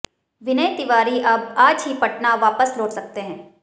विनय तिवारी अब आज ही पटना वापस लौट सकते हैं